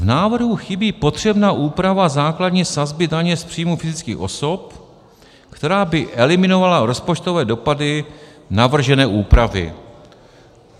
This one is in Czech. "V návrhu chybí potřebná úprava základní sazby daně z příjmů fyzických osob, která by eliminovala rozpočtové dopady navržené úpravy."